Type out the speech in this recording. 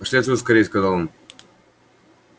пошли отсюда скорее сказал он